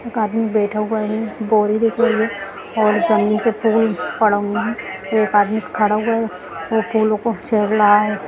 एक आदमी बेठा हुआ है बोरी दिख रही है और जमीन पे फूल पड़ा हुआ है और एक आदमी खड़ा हुआ है वो फूलों को रहा है।